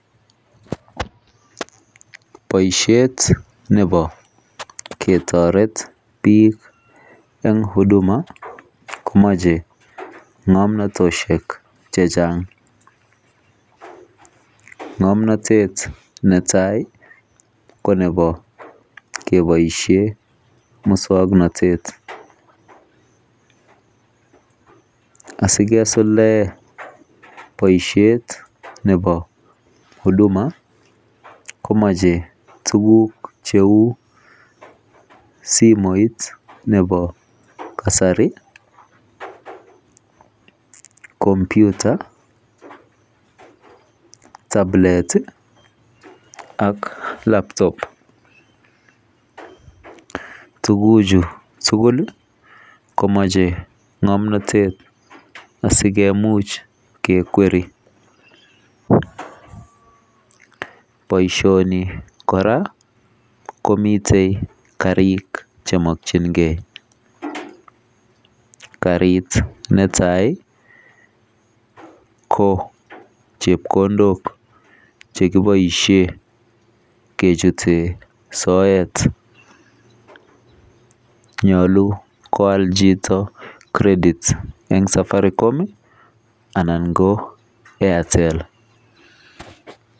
Boisiet nebo ketoret bik eng [huduma] komoche ngomnotoshek chechang ngomnotet netai ko nebo keboisien mukswoknotet asi kesulde boisiet nebo [huduma] komoche tuguk cheu simoit nebo kasari [computer],[tablet] iih ak [laptop]. Tuguchuu tugul iih komoche ngomnotet asikimuch kekweri boisioni korak komiten karik chemokyingen karik neta ko chepkondok chekiboisien kechuten soet nyolu koal chito [credit] eng [safaricom] ana ko [Airtel].